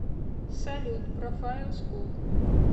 салют профайл скул